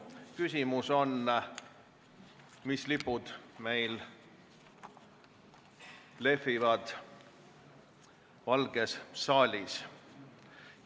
Küsimus on, mis lipud meil lehvivad Valges saalis.